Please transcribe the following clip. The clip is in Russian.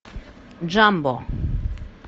джамбо